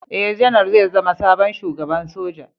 Ee, Janar zai zama sabon Shugaban Soja.